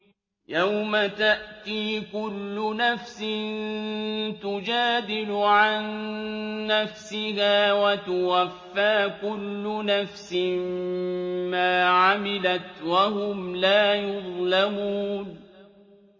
۞ يَوْمَ تَأْتِي كُلُّ نَفْسٍ تُجَادِلُ عَن نَّفْسِهَا وَتُوَفَّىٰ كُلُّ نَفْسٍ مَّا عَمِلَتْ وَهُمْ لَا يُظْلَمُونَ